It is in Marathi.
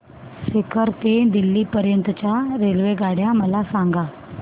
सीकर ते दिल्ली पर्यंत च्या रेल्वेगाड्या मला सांगा